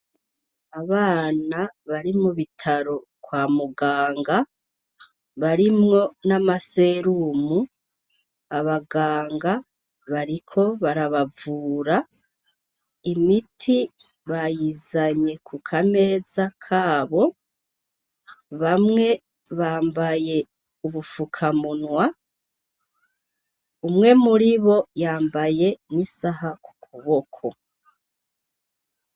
Abana bari mu bitaro kwa muganga, barimwo n'amaserumu, abaganga bariko barabavura, imiti bayizanye ku kameza kabo, bamwe bambaye ubufukamunwa, umwe muribo yambaye n'isaha ku kuboko.